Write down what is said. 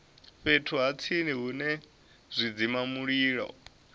fhethu ha tsini hune zwidzimamulilo